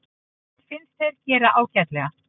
Mér fannst þeir gera ágætlega.